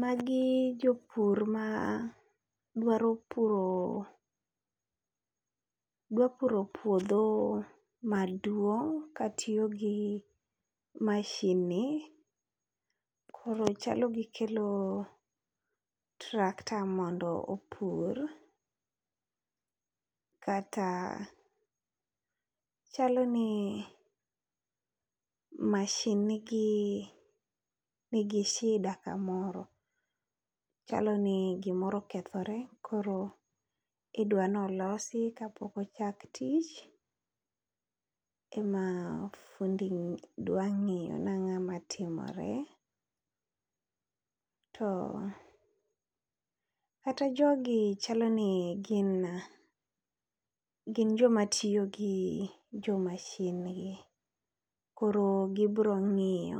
Magi jopur ma dwaro puro dwa puro puodho maduong' ka tiyo gi mashin ni. Koro chalo gikelo tractor mondo opur, kata chalo ni mashin nigi shida kamoro. Chalo ni gimoro okethore koro idwanolosi kapok ochak tich, ema fundi dwa ng'iyo nang'ama timore. To kata jogi chalo ni gin, gin joma tiyo gi jo mashin gi. Koro gibro ng'iyo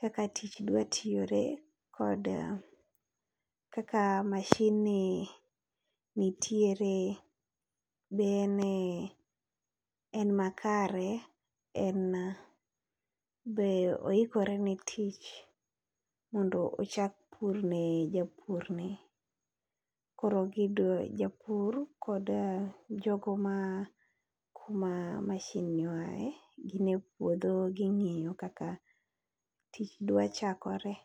kaka tich dwa tiyore, kod kaka mashin ni nitiere. Be en, en makare en be oikore ne tich mondo ochak pur ne japur ni. Koro gidoe japur kod jogo ma kuma mashin ni oae, gin e puodho ging'iyo kaka tich dwa chakore.